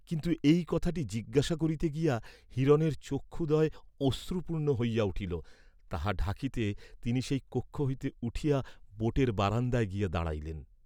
কিন্তু এই কথাটি জিজ্ঞাসা করিতে গিয়া হিরণের চক্ষুদ্বয় অশ্রুপূর্ণ হইয়া উঠিল, তাহা ঢাকিতে তিনি সেই কক্ষ হইতে উঠিয়া বােটের বারান্দায় গিয়া দাঁড়াইলেন।